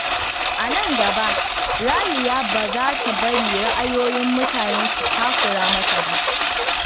A nan gaba, Raliya ba za ta bari ra’ayoyin mutane su takura mata ba.